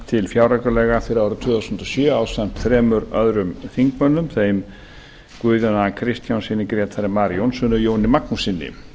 til fjáraukalaga fyrir árið tvö þúsund og sjö ásamt þremur öðrum þingmönnum þeim guðjóni a kristjánssyni grétari mar jónssyni og jóni magnússyni